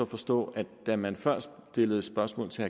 forstå at det da man før stillede et spørgsmål til